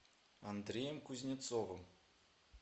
андреем кузнецовым